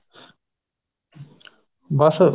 ਬੱਸ